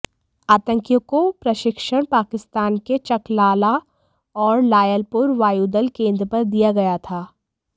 आतंकियों को प्रशिक्षण पाकिस्तान के चकलाला और लायलपुर वायुदल केन्द्र पर दिया गया था